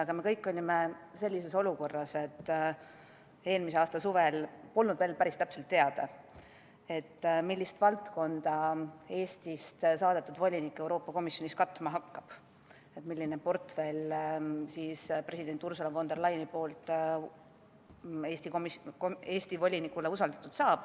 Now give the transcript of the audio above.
Aga me kõik olime eelmise aasta suvel sellises olukorras, et polnud veel päris täpselt teada, millist valdkonda Eestist saadetud volinik Euroopa Komisjonis katma hakkab, millise portfelli president Ursula von der Leyen Eesti volinikule usaldab.